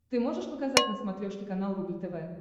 ты можешь показать на смотрешке канал рубль тв